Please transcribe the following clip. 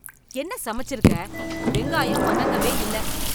என்ன சமச்சிருக்க. வெங்கயாம் வதங்கவே இல்ல.